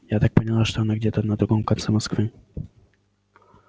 я так поняла что она где-то на другом конце москвы